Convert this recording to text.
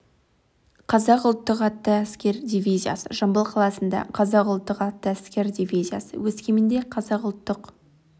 қазақ ұлттық атты әскер дивизиясы жамбыл қаласында қазақ ұлттық атты әскер дивизиясы өскеменде қазақ ұлттық